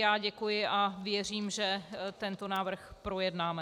Já děkuji a věřím, že tento návrh projednáme.